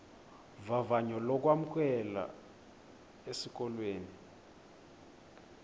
vavanyo lokwamkelwa esikolweni